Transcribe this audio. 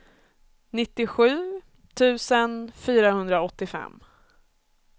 nittiosju tusen fyrahundraåttiofem